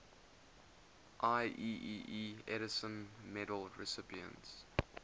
ieee edison medal recipients